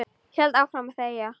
Held áfram að þegja.